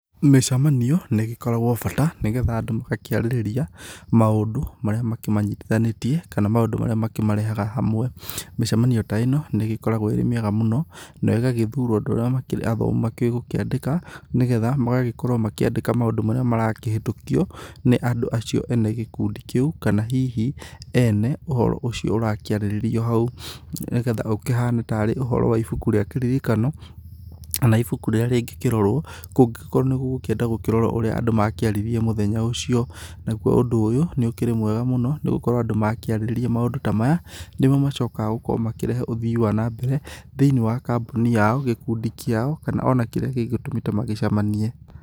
Mĩcemanio nĩ ĩgĩkoragwo bata nĩgetha andũ magakĩarĩrĩria maũndũ marĩa makĩmanyitithanĩtie kana maũndũ marĩa makĩmarehaga hamwe. Mĩcemanio ta ĩno nĩ ĩgĩkoragwo ĩrĩ mĩega mũno nĩyo ĩgagĩthurwo andũ arĩa makĩũĩ gũkĩandĩka nĩgetha magagĩkorwo makĩandĩka maũndũ marĩa marakĩhĩtũkio nĩ andũ acio ene gĩkundi kĩu kana hihi ene ũhoro ũcio ũrakĩarĩrĩrio hau nĩgetha ũkĩhane tarĩ ũhoro wa ĩbuku rĩa kĩririkano kana ĩbuku rĩrĩa rĩngĩkĩrorwo kũngĩkorwo nĩgũgũkĩenda gũkĩrorwo ũrĩa andũ marakĩarĩrĩria mũthenya ũcio. Naguo ũndũ ũyũ nĩ ũkĩrĩ mwega mũno nĩgũkorwo andũ makĩarĩrĩria maũndũ ta maya nĩmo macokaga gũkorwo makĩrehe ũthĩĩ wa nambere thĩiniĩ wa kambuni yao, gĩkundi kĩao kana ona kĩrĩa gĩgĩtũmĩte magĩcemanie.